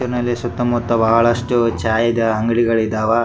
ಇನಲ್ಲಿ ಸುತ್ತ ಮುತ್ತ ಬಹಳಷ್ಟು ಚಾಯಾದ ಅಂಗಡಿಗಳು ಇದ್ದವ.